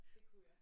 Det kunne jeg